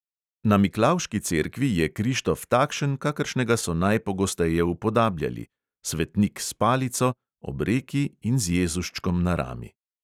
Na miklavški cerkvi je krištof takšen, kakršnega so najpogosteje upodabljali; svetnik s palico ob reki in z jezuščkom na rami.